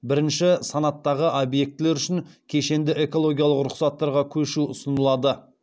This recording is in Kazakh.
бірінші санаттағы объектілер үшін кешенді экологиялық рұқсаттарға көшу ұсынылады